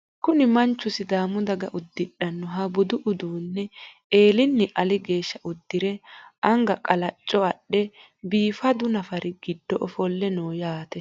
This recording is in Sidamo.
Kuni manchu sidaamu daga uddidhannoha budu uduunne eelinni ali geeshsha uddire anga qalacco adhe biifadu nafari giddo ofolle no yaate.